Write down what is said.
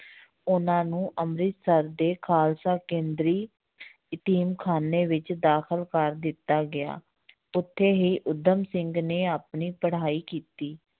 ਉਹਨਾਂ ਨੂੰ ਅੰਮ੍ਰਿਤਸਰ ਦੇ ਖ਼ਾਲਸਾ ਕੇਂਦਰੀ ਯਤੀਮ ਖ਼ਾਨੇ ਵਿੱਚ ਦਾਖਲ ਕਰ ਦਿੱਤਾ ਗਿਆ ਉੱਥੇ ਹੀ ਊਧਮ ਸਿੰਘ ਨੇ ਆਪਣੀ ਪੜ੍ਹਾਈ ਕੀਤੀ